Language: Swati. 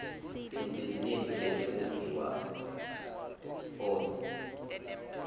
libhizinisi letekumbiwa phonsi